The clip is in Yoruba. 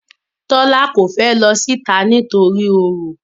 Tola ko fè ló síta nítorí oro.